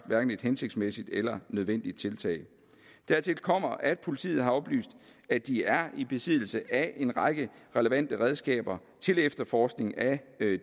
hverken et hensigtsmæssigt eller nødvendigt tiltag dertil kommer at politiet har oplyst at de er i besiddelse af en række relevante redskaber til efterforskning af